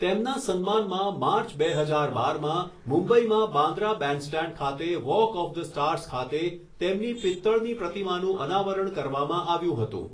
તેમના સન્માનમાં માર્ચ, બે હજાર બારમાં મુંબઈમાં બાંદ્રા બેન્ડસ્ટેન્ડ ખાતે વોક ઓફ ધ સ્ટાર્સ ખાતે તેમની પિત્તળની પ્રતિમાનું અનાવરણ કરવામાં આવ્યું હતું.